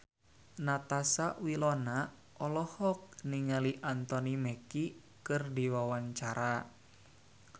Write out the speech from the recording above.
Natasha Wilona olohok ningali Anthony Mackie keur diwawancara